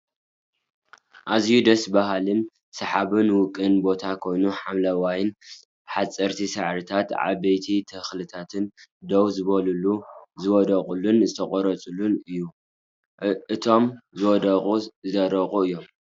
ኣዝየዩ ደስ ብሃሊን ስሓብን ውቅብ ቦታ ኮይኑ ሓምለዋይን ሓፀርቲ ሳዕርታትን ዓበይቲ ተክልታትን ደው ዝበሉን ዝወደቁን ዝተቆረፁን እዮም። እቶም ዝወደቁ ዝደረቁ እዮም።